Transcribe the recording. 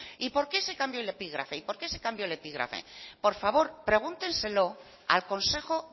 y por qué se cambió el epígrafe y por qué se cambió el epígrafe por favor pregúntenselo al consejo